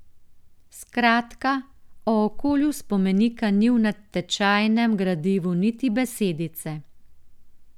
Skratka, o okolju spomenika ni v natečajnem gradivu niti besedice.